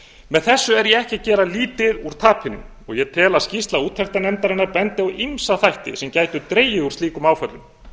með þessu er ég ekki að gera lítið úr tapinu og ég tel að skýrsla úttektarnefndarinnar bendi á ýmsa þætti sem gætu dregið úr slíkum áföllum